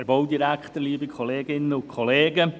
Herr Frutiger, Sie haben das Wort.